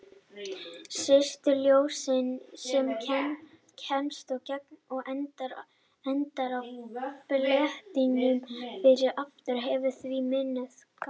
Styrkur ljóssins sem kemst í gegn og endar á fletinum fyrir aftan hefur því minnkað.